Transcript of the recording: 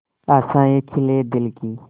आशाएं खिले दिल की